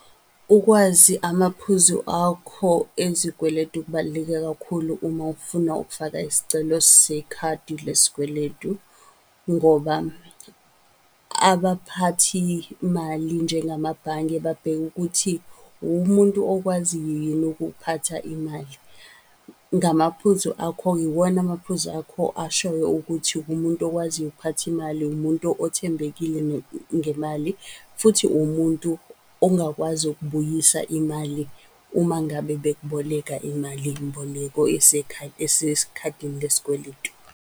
Ukwazi amaphuzu akho ezikweletu kubaluleke kakhulu uma ufuna ukufaka isicelo sekhadi lesikweletu. Ngoba abaphathi mali njengamabhange babheka ukuthi uwumuntu okwaziyo yini ukuphatha imali. Ngamaphuzu akho-ke, iwona amaphuzu akho ashoyo ukuthi uwumuntu okwaziyo ukuphatha imali, umuntu othembekile ngemali futhi uwumuntu ongakwazi ukubuyisa imali uma ngabe bekuboleka imalimboleko esekhadini lesikweletu.